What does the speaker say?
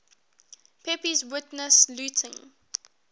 pepys witnessed looting